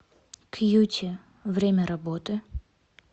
кьюти время работы